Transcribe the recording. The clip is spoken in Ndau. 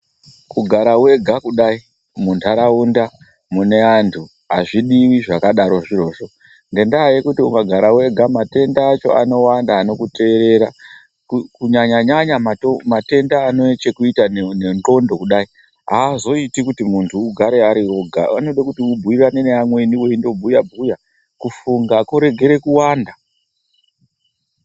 Kugara wega kudayi munharaunda mune antu azvidiwi zvirozvo ngendaa yekuti ukagara wega matenda acho anowanda anokuteerera kunyaya nyanya matenda anechekuita nendxondo kudayi, aazoiti kuti munhu ugare uriwega, anoda kuti munhu ugare nevamweni kudayi muchibhuya bhuya kuti kufunga kuregere kuwanda.